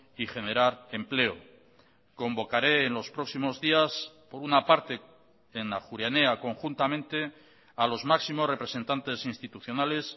y generar empleo convocaré en los próximos días por una parte en ajuria enea conjuntamente a los máximos representantes institucionales